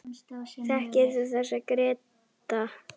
Þekkir þú þessa, Gréta?